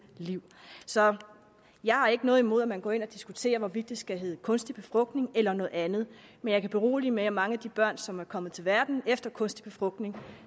liv jeg har ikke noget imod at man går ind og diskuterer hvorvidt det skal hedde kunstig befrugtning eller noget andet men jeg kan berolige med at mange af de børn som er kommet til verden efter kunstig befrugtning